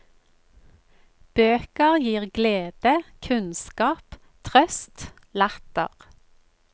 Bøker glir glede, kunnskap, trøst, latter.